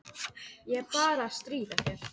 Ég er bara að stríða þér.